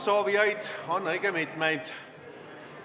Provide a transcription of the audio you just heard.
Soovijaid on õige mitmeid.